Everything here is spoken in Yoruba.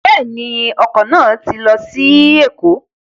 Bẹ́ẹ̀ ju, ọkọ̀ náà ti lọ sí Èkó.